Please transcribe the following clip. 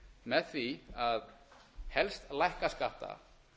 með því að helst lækka skatta